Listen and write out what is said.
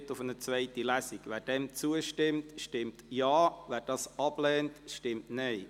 Wer diesem Antrag zustimmt, stimmt Ja, wer ihn ablehnt, stimmt Nein.